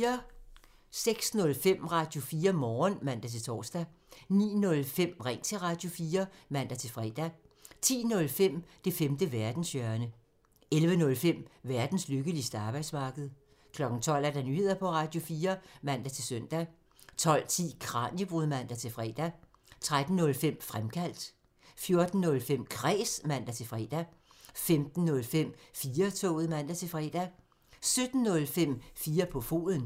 06:05: Radio4 Morgen (man-tor) 09:05: Ring til Radio4 (man-fre) 10:05: Det femte verdenshjørne (man) 11:05: Verdens lykkeligste arbejdsmarked (man) 12:00: Nyheder på Radio4 (man-søn) 12:10: Kraniebrud (man-fre) 13:05: Fremkaldt (man) 14:05: Kræs (man-fre) 15:05: 4-toget (man-fre) 17:05: 4 på foden (man)